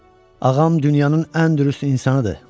Ağam dünyanın ən dürüst insanıdır.